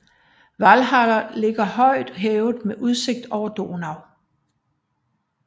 Walhalla ligger højt hævet med udsigt over Donau